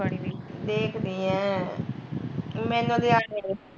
ਦੇਖਦੀ ਐ ਮੈਨੂੰ ਲਿਆ ਕੇ ਦਈ